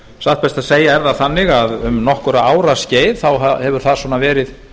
satt best að segja er það þannig að um nokkurra ára skeið hefur það verið